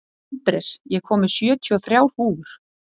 Andrés, ég kom með sjötíu og þrjár húfur!